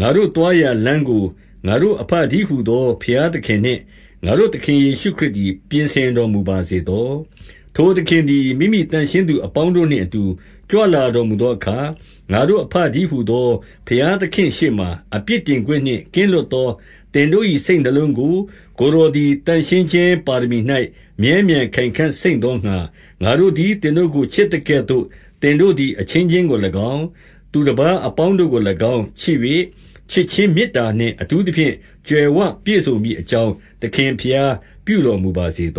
ငါတို့သွားရာလမ်းကို ငါတို့အဘတည်းဟူသော ဘုရားသခင်နှင့် ငါတို့သခင်ယေရှုခရစ် သည် ပြင်ဆင်တော်မူပါစေသော။ 12 ထိုသခင်သည် မိမိသန့်ရှင်းသူအပေါင်းတို့နှင့်အတူ ကြွလာတော်မူသောအခါ။ ငါတို့အဘတည်း ဟူသော ဘုရားသခင်ရှေ့မှာ အပြစ်တင်ခွင့်နှင့် ကင်းလွတ်သော သင်တို့၏ စိတ်နှလုံးကို ကိုယ်တော်သည် သန့်ရှင်းခြင်းပါရမီ၌ မြဲမြဲခိုင်ခံ့စိမ့်သောငှါ ငါတို့သည် သင်တို့ကို ချစ်သကဲ့သို့ သင်တို့သည် အချင်းချင်းကို၎င်း ၊ သူတပါးအပေါင်းတို့ကို၎င်း ချစ်၍၊ ချစ်ခြင်းမေတ္တာနှင့် အထူးသဖြင့် ကြွယ်ဝပြည့်စုံမည်အကြောင်း သခင်ဘုရား ပြုတော်မူပါစေသ